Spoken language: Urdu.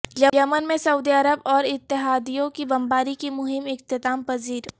یمن میں سعودی عرب اور اتحادیوں کی بمباری کی مہم اختتام پذیر